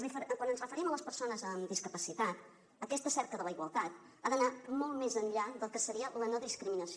quan ens referim a les persones amb discapacitat aquesta cerca de la igualtat ha d’anar molt més enllà del que seria la no discriminació